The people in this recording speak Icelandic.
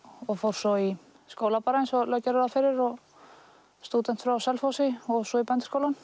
og fór svo í skóla bara eins og lög gera ráð fyrir og stúdent frá Selfossi fór svo í Bændaskólann